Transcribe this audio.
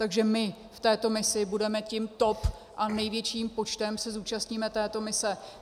Takže my v této misi budeme tím top a největším počtem se zúčastníme této mise.